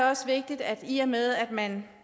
også vigtigt at man i og med at man